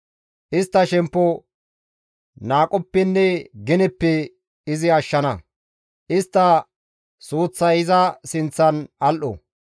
Istta shemppo qohoppenne geneppe izi ashshana; istta suuththay iza sinththan al7o.